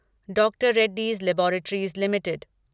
doctor Reddy's laboratories limited